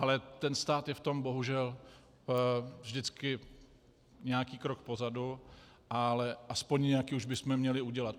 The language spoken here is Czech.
Ale ten stát je v tom bohužel vždycky nějaký krok pozadu, ale aspoň nějaký už bychom měli udělat.